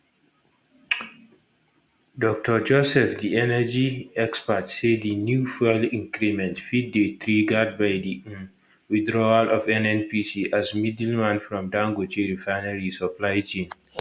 dr joseph di energy expert say di new fuel increment fit dey triggered by di um withdrawal of nnpc as middleman from dangote refinery supply chain